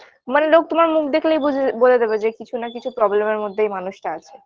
মানে লোক তোমার মুখ দেখলেই বুঝে বলে দেবে যে কিছু না কিছু problem -এর মধ্যে এই মানুষটা আছে